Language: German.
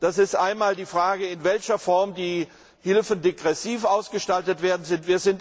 Das ist zum einen die Frage, in welcher Form die Hilfe degressiv ausgestaltet werden soll.